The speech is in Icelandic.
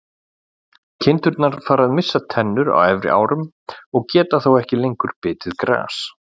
Kindur fara að missa tennur á efri árum og geta þá ekki lengur bitið gras.